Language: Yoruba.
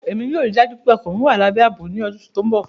ẹ̀mi yóò ríì dájú pẹ̀ ọkọ mí wà làbẹ́ àbọ̀ ní oṣù tó nbọ.